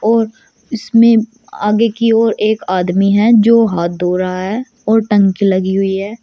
और इसमें आगे की ओर एक आदमी हैं जो हाथ धो रहा है और टंकी लगी हुई है।